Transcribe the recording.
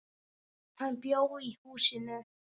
Hann bjó í húsinu.